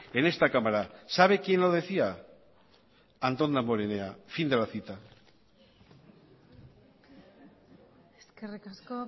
en esta cámara sabe quién lo decía antón damborenea fin de la cita eskerrik asko